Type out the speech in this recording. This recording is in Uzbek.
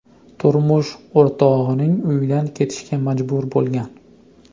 turmush o‘rtog‘ining uyidan ketishga majbur bo‘lgan.